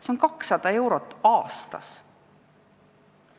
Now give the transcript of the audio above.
See on 200 eurot aastas.